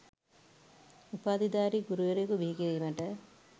උපාධිධාරී ගුරුවරයෙකු බිහි කිරීමට